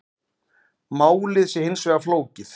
Málið sé hins vegar flókið